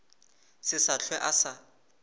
se sa hlwe a sa